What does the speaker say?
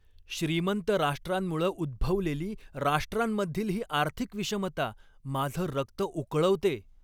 श्रीमंत राष्ट्रांमुळं उद्भवलेली राष्ट्रांमधील ही आर्थिक विषमता माझं रक्त उकळवते.